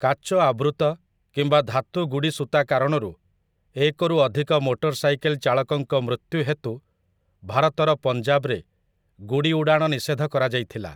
କାଚ ଆବୃତ କିମ୍ବା ଧାତୁ ଗୁଡ଼ି ସୂତା କାରଣରୁ ଏକରୁ ଅଧିକ ମୋଟର ସାଇକେଲ୍ ଚାଳକଙ୍କ ମୃତ୍ୟୁ ହେତୁ ଭାରତର ପଞ୍ଜାବରେ ଗୁଡ଼ି ଉଡ଼ାଣ ନିଷେଧ କରାଯାଇଥିଲା ।